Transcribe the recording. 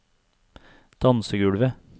dansegulvet